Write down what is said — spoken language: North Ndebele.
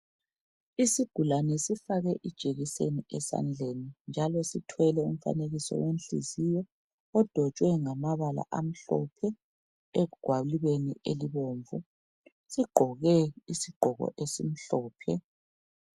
Isigulane sifakwe ijekiseni esandleni, njalo sithwele umfanekiso wenhliziyo. Odwetshwe ngamabala amhlophe, egwalibeni elibomvu. Sigqoke isigqoko esimhlophe.